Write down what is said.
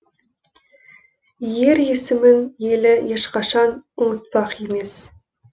ер есімін елі ешқашан ұмытпақ емес